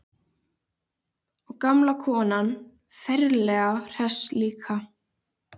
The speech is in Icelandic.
Og gamla konan ferlega hress líka.